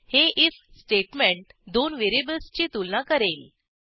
हे IF statement दोन व्हेरिएबल्सची तुलना करेल